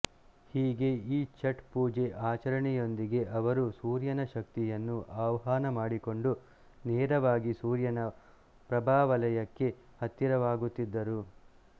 ಹೀಗೆ ಈ ಛಠ್ ಪೂಜೆ ಆಚರಣೆಯೊಂದಿಗೆ ಅವರು ಸೂರ್ಯನ ಶಕ್ತಿಯನ್ನು ಆಹ್ವಾನ ಮಾಡಿಕೊಂಡು ನೇರವಾಗಿ ಸೂರ್ಯನ ಪ್ರಭಾವಲಯಕ್ಕೆ ಹತ್ತಿರವಾಗುತ್ತಿದ್ದರು